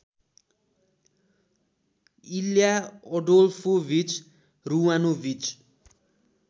इल्या Adolfovich Ruvanovich